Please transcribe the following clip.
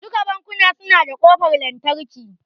Duka bankuna su na da kofar lantarki